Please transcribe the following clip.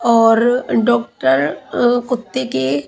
और अ डोक्टर कुत्ते के --